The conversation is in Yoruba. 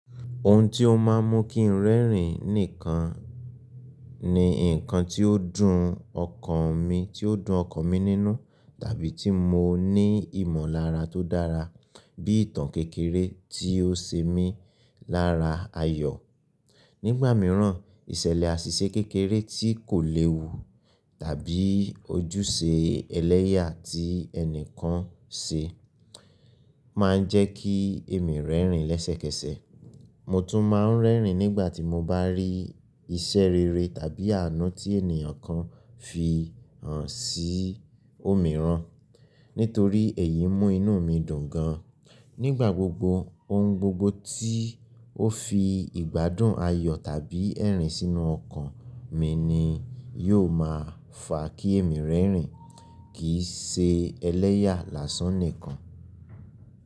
Ohun tí ó máa ń mú kí n rẹ́rìn nìkan ni nǹkan ti ó dùn ọkàn mi, tí ó dùn ọkàn mi nínú, tàbí tí mo ní ìmọ̀lára tó dára bí ìtàn kékeré tí ó ṣe mí lára ayọ̀. Nígbà mìíràn, ìṣẹ̀lẹ̀ àṣìṣe kékeré tí kò léwu tàbí ojúṣe ẹlẹ́yà tí ẹnìkan ṣe máa ń jẹ́ kí èmi rẹ́rìn lẹ́sẹ̀kẹsẹ̀. Mo tún máa ń rẹ́rìn nígbà tí mo bá rí iṣẹ́ rere tàbí àánú tí ènìyàn kan fi hàn sí òmíràn, nítorí èyí mú inú mi dùn gan. Nígbà gbogbo, ohun gbogbo tí ó fi ìgbádùn, ayọ̀ tàbí ẹ̀rín sínú ọkàn mi ni yóò máa fà kí èmi rẹ́rìn, kì í ṣe ẹlẹ́yà lásán nìkan.